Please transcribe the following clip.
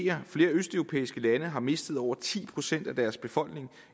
at flere østeuropæiske lande har mistet over ti procent af deres befolkning